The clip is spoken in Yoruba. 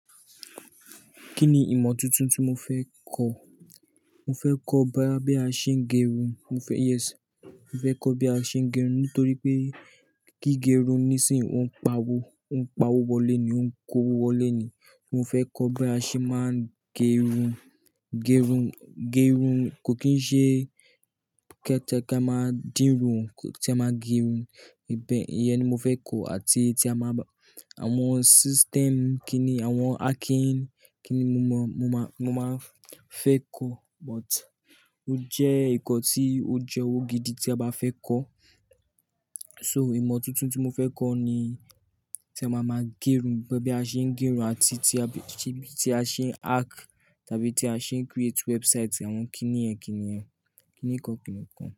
Kí ni ìmọ̀ tuntun tí mo fẹ́ kọ́? Mo fẹ́ kọ́ bí a ṣe ń gẹrun. Mo fẹ́, yes, mo fẹ́ kọ́ bí a ṣe ń gẹrun nítorí pé kí gẹrun níìsín, ó ń pa owó, ó ń pa owó wọlé ni, ó ń kó owó wọlé ni. Mo fẹ́ kọ́ bí a ṣe máa gẹrun. Gẹrun, gẹrun kò kín ṣe kẹ́tẹ kẹ́ máa dín rùn ó, te máa gẹrun. Ìbẹ yẹn ni mo fẹ́ ko àti tí a máa bá, àwọn system kí ni, àwọn hacking kí ni mo mọ, mo má, mo máa fẹ́ ko. But ó jẹ́ nnkan tí ó jẹ́ owó gidi tí a bá fẹ́ kọ́. So ìmọ̀ tuntun tí mo fẹ́ kọ́ ni tí a máa máa gerun, bí a ṣe ń gerun àti tí a, tí, tí a ṣe ń hack tàbí tí a ṣe ń create website àwọn kíni yẹ́n kíni yẹ́n, kíni kan kíni kan.